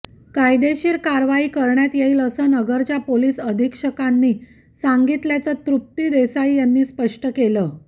कायदेशीर कारवाई करण्यात येईल असं नगरच्या पोलीस अधिक्षकांनी सांगितल्याचं तृप्ती देसाई यांनी स्पष्ट केलं